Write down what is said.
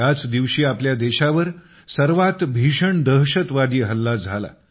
याच दिवशी आपल्या देशावर सर्वात भीषण दहशतवादी हल्ला झाला